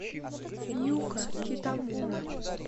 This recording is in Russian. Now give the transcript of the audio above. юка китамура